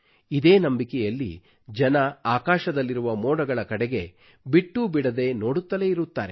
ಇದೇ ನಂಬಿಕೆಯಲ್ಲಿ ಜನರು ಆಕಾಶದಲ್ಲಿರುವ ಮೋಡಗಳ ಕಡೆಗೆ ಬಿಟ್ಟೂ ಬಿಡದೆ ನೋಡುತ್ತಲೇ ಇರುತ್ತಾರೆ